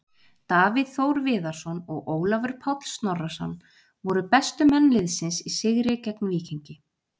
Davíð Þór Viðarsson og Ólafur Páll Snorrason voru bestu menn liðsins í sigri gegn Víkingi.